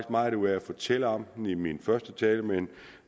meget ud af at fortælle om den i min første tale men